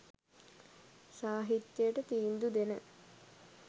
සාහිත්‍යයට තීන්දු දෙන